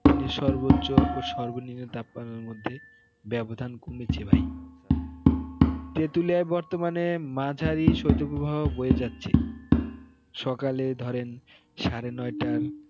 দিনের সর্বনিম্ন এবং সর্বোচ্চ তাপমাত্রার মধ্যে ব্যবধান কমেছে ভাই তেঁতুলিয়ায় বর্তমানের মাঝারি শৈত্যপ্রবাহ বয়ে যাচ্ছে সকালে ধরেন সাড়ে নয়টার